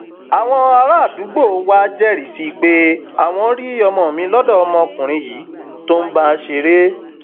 àwọn àràádúgbò wàá jẹrìí sí i pé àwọn rí ọmọ mi lọdọ ọmọkùnrin yìí tó ń bá a ṣeré